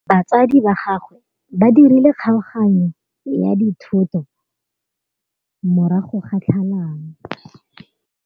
Batsadi ba gagwe ba dirile kgaoganyô ya dithoto morago ga tlhalanô.